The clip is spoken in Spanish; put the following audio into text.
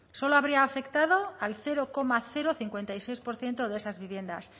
solo habría afectado al cero coma cincuenta y seis por ciento de esas viviendas